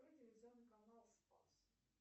телевизионный канал спас